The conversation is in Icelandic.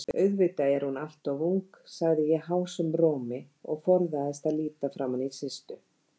Auðvitað er hún alltof ung, sagði ég hásum rómi og forðaðist að líta framaní Systu.